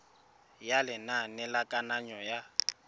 ya lenane la kananyo ya